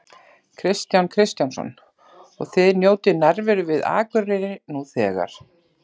Kristján Kristjánsson: Og þið njótið nærveru við Akureyri nú þegar?